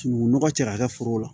Sunukunnɔgɔ cɛ k'a kɛ foro la